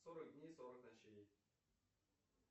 сорок дней сорок ночей